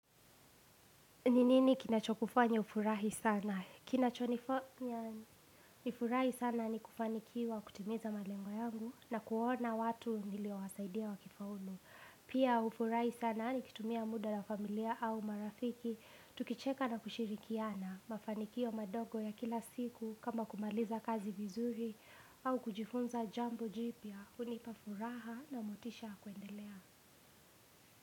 Ni nini kinacho kufanya ufurahi sana? Kinacho nifanya nifurahi sana ni kufanikiwa kutimiza malengo yangu na kuona watu niliowasaidia wakifaulu. Pia nafurahi sana nikitumia mda na familia au marafiki. Tukicheka na kushirikiana mafanikio madogo ya kila siku kama kumaliza kazi vizuri au kujifunza jambo jipya. Unipa furaha na motisha ya kuendelea.